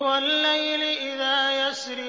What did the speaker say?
وَاللَّيْلِ إِذَا يَسْرِ